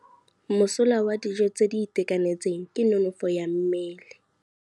Mosola wa dijô tse di itekanetseng ke nonôfô ya mmele.